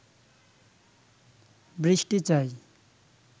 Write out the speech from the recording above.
বৃষ্টি চাই